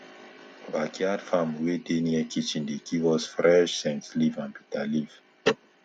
backyard farm wey dey near kitchen dey give us fresh scentleaf and bitter leaf